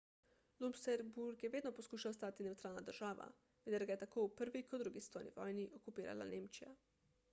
luksemburg je vedno poskušal ostati nevtralna država vendar ga je tako v prvi kot drugi svetovni vojni okupirala nemčija